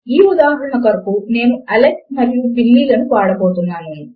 ఈ ఉదాహరణ కొరకు నేను అలెక్స్ మరియు బిల్లీ లను వాడబోతున్నాను